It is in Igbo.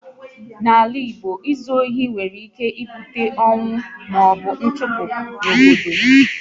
Mgbe ochie n'ala Igbo, ịzu ohi nwere ike ibute ọnwụ maọbụ nchụpụ n'obodo